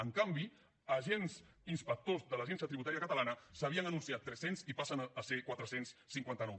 en canvi agents inspectors de l’agència tributària catalana se n’havien anunciat tres cents i passen a ser ne quatre cents i cinquanta nou